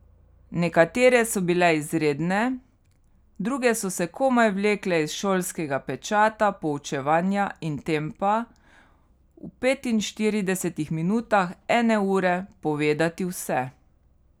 Nekatere so bile izredne, druge so se komaj vlekle iz šolskega pečata poučevanja in tempa, v petinštiridesetih minutah ene ure povedati vse.